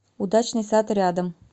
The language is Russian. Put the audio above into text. удачный сад рядом